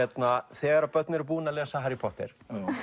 þegar börn eru búin að lesa Harry Potter